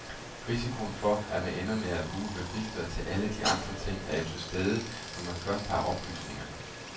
Risikoen for, at man ender med at bruge registret til alle de andre ting, er jo til stede, når man først har oplysningerne.